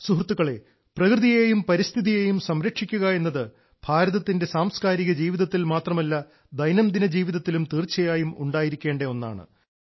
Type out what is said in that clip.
സുഹൃത്തുക്കളെ പ്രകൃതിയേയും പരിസ്ഥിതിയേയും സംരക്ഷിക്കുക എന്നത് ഭാരതത്തിന്റെ സാംസ്കാരിക ജീവിതത്തിൽ മാത്രമല്ല ദൈനംദിന ജീവിതത്തിലും തീർച്ചയായും ഉണ്ടായിരിക്കേണ്ട ഒന്നാണ്